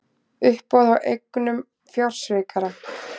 Uppboð á eignum fjársvikara